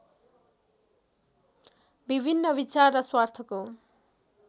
विभिन्न विचार र स्वार्थको